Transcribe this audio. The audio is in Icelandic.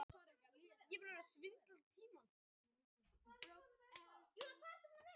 Hress önd hljóp þá inn á völlinn þegar leikurinn var í gangi.